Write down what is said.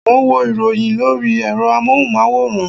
Mo ń wo ìròyìn lórí ẹ̀rọ amóhùnmáwòrán